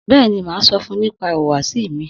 Bẹ́ẹ̀ni, màá sọfun nípa ìhùwàsí mi.